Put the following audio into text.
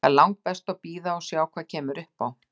Það er langbest að bíða og sjá hvað kemur upp á.